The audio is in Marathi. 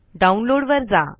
डाउनलोड वर जा